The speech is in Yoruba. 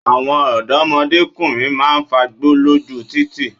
Àwọn òdọ́mọkùnrin máa ń fagbó lóju títì.